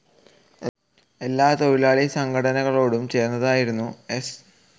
എല്ലാ തൊഴിലാളി സംഘടനകളോടും ചേർന്നായിരുന്നു എസ്.